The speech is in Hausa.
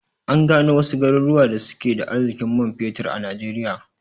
An gano wasu garuruwan da suke da arzikin man fetir a najeriya